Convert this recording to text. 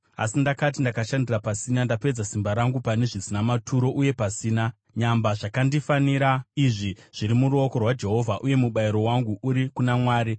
Asi ndakati, “Ndakashandira pasina, ndapedza simba rangu pane zvisina maturo uye pasina. Nyamba zvakandifanira ini zviri muruoko rwaJehovha, uye mubayiro wangu uri kuna Mwari.”